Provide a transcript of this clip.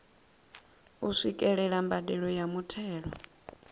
u swikelela mbadelo ya muthelo